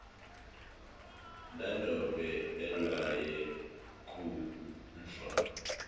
nanobe ehlwaya kodvwa